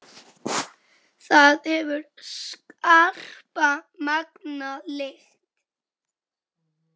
Það hefur skarpa, megna lykt.